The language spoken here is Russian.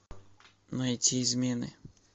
найти измены